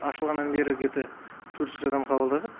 ашылғаннан бері где то төрт жүз адам қабылдадық